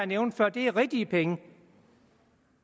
nævnte før er rigtige penge